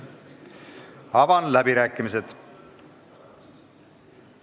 Avan läbirääkimised.